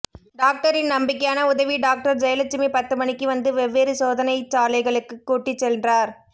டாக்டரின் நம்பிக்கையான உதவி டாக்டர் ஜெயலட்சுமி பத்துமணிக்கு வந்து வெவ்வேறு சோதனைச்சாலைகளுக்குக் கூட்டிச்சென்றார்